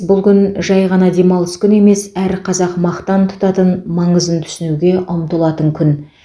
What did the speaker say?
бұл күн жай ғана демалыс күні емес әр қазақ мақтан тұтатын маңызын түсінуге ұмтылатын күн